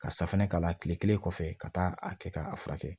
Ka safunɛ k'a la kile kelen kɔfɛ ka taa a kɛ k'a furakɛ